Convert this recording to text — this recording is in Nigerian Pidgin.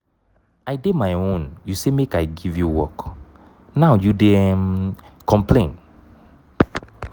i dey my own you say make i give you work now you dey um complain